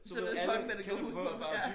Så ved folk hvad det går ud på ja